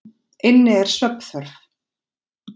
inn er svefnþörf.